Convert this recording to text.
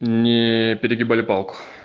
не перегибали палку